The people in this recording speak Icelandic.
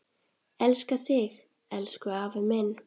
Elska þig, elsku afi minn.